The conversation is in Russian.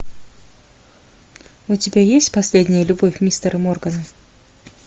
у тебя есть последняя любовь мистера моргана